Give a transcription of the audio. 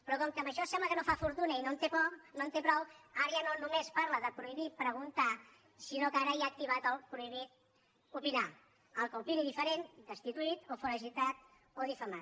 però com que amb això sembla que no fa fortuna i no en té prou ara ja no només parla de prohibir preguntar sinó que ara ja ha activitat el prohibit opinar el que opini diferent destituït o foragitat o difamat